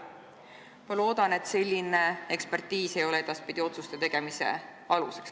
" Ma loodan, et selline ekspertiis ei ole edaspidi otsuste tegemise aluseks.